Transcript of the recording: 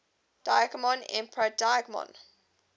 digimon emperor digimon